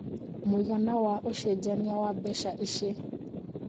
mũigana wa ũcejanĩa wa mbeca ĩcĩ